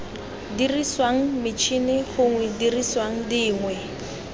diriswang metšhini gongwe didiriswa dingwe